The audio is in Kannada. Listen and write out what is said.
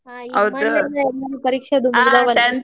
ಪರೀಕ್ಷೆ ಅದು ಮುಗ್ದಾವಲ್ರಿ .